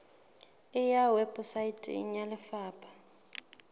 e ya weposaeteng ya lefapha